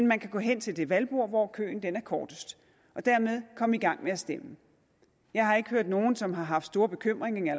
man kan gå hen til det valgbord hvor køen er kortest og dermed komme i gang med at stemme jeg har ikke hørt nogen som har haft store bekymringer